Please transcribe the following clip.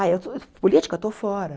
Ah, eu política eu estou fora.